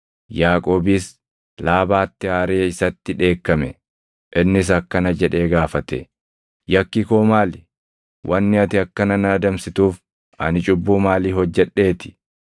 Yaaqoobis Laabaatti aaree isatti dheekkame. Innis akkana jedhee gaafate; “Yakki koo maali? Wanni ati akkana na adamsituuf ani cubbuu maalii hojjedheeti?